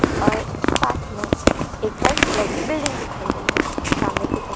और साथ में एक वाइट कलर की बिल्डिंग दिखाई गई है सामने की तरह--